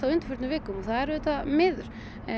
á undanförnum vikum og það er auðvitað miður